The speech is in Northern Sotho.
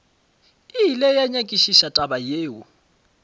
ile a nyakišiša taba yeo